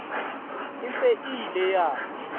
e se e ile ya